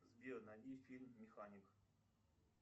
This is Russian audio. сбер найди фильм механик